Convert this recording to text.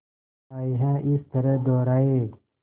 आए हैं इस तरह दोराहे